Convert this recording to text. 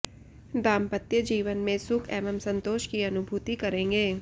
दांपत्यजीवन में सुख एवं संतोष की अनुभूति करेंगे